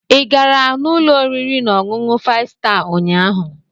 Ị gara n'ụlọ oriri na ọṅụṅụ five star ụnyahụ??